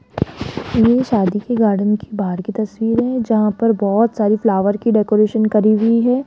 ये शादी के गार्डन की बाहर की तस्वीर जहां पर बहोत सारी फ्लावर की डेकोरेशन करी हुई है।